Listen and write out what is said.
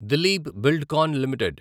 Dilip Buildcon limited